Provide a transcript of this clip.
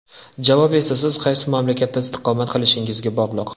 Javob esa siz qaysi mamlakatda istiqomat qilishingizga bog‘liq.